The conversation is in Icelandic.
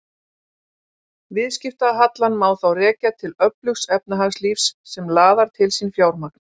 Viðskiptahallann má þá rekja til öflugs efnahagslífs sem laðar til sín fjármagn.